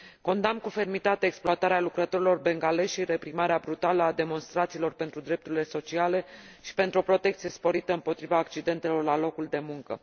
Condamn cu fermitate exploatarea lucrătorilor bengalezi și reprimarea brutală a demonstrațiilor pentru drepturi sociale și pentru o protecție sporită împotriva accidentelor la locul de muncă.